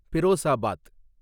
Firozabad